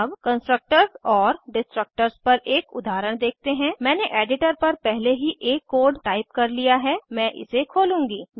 अब constructors and destructors पर एक उदाहरण देखते हैं मैंने एडिटर पर पहले ही एक कोड टाइप कर लिया है मैं इसे खोलूंगी